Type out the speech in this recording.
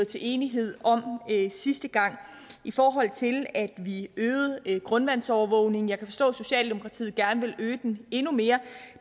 til enighed om sidste gang i forhold til at vi øgede grundvandsovervågningen jeg kan forstå at socialdemokratiet gerne vil øge den endnu mere